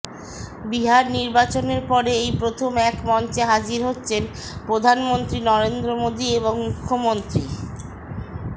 বিহার নির্বাচনের পরে এই প্রথম এক মঞ্চে হাজির হচ্ছেন প্রধানমন্ত্রী নরেন্দ্র মোদী এবং মুখ্যমন্ত্রী